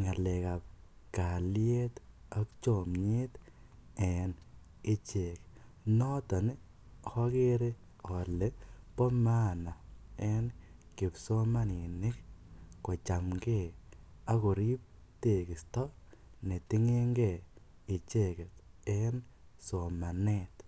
ngalekap kaliet ak chomiet en ichek noton ogere ole bo maana en kipsomaninik kochamke akorib tegosti netindo icheket en somanet